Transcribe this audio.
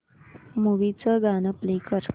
movie चं गाणं play कर